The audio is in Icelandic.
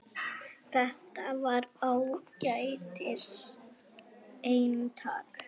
Þetta var ágætis eintak